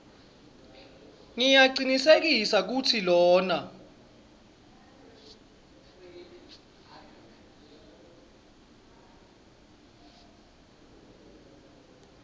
ngiyacinisekisa kutsi lona